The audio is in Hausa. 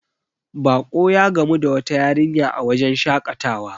bako ya gamu da wata yarinya a wajen shakatawa